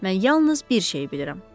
Mən yalnız bir şeyi bilirəm.